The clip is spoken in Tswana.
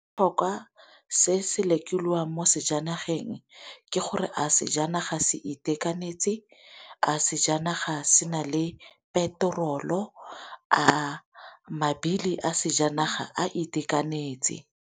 se se lekolwang mo sejaneng ke gore a sejanaga se itekanetse, a sejanaga sena le peterolo, a mabili a sejanaga a itekanetse.